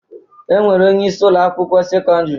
E nwere onyeisi Ụlọ akwụkwọ sekọndrị